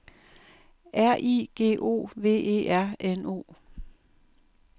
R I G O V E R N O